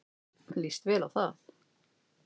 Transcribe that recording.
Líst vel á það.